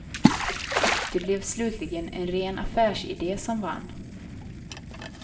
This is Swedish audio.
Det blev slutligen en ren affärsidé som vann.